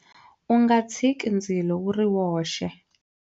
U nga tshiki ndzilo wu ri woxe.